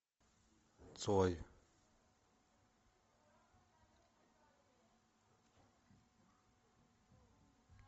цой